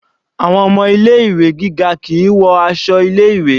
Àwọn ọmọ ilé ìwé gíga kìí wọ aṣọ ilé ìwé.